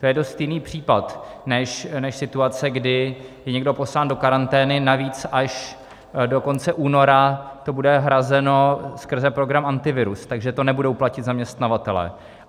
To je dost jiný případ než situace, kdy je někdo poslán do karantény, navíc až do konce února to bude hrazeno skrze program Antivirus, takže to nebudou platit zaměstnavatelé.